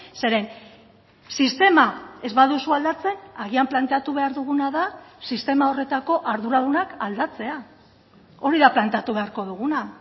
zeren sistema ez baduzu aldatzen agian planteatu behar duguna da sistema horretako arduradunak aldatzea hori da planteatu beharko duguna